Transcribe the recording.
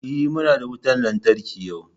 E, muna da wutan lantarki yau.